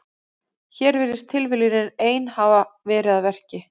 Hér virðist tilviljunin ein hafa verið að verki.